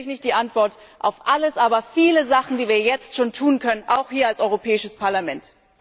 Sicherlich nicht die Antwort auf alles, aber auf viele Sachen, die wir jetzt schon tun können, auch hier als Europäisches Parlament.